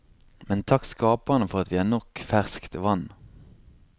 Men takk skaperen for at vi har nok ferskt vann.